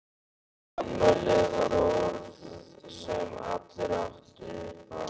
Afmæli var orð sem allir áttu.